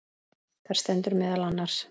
Þar stendur meðal annars